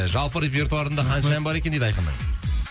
жалпы репертуарында қанша ән бар екен дейді айқынның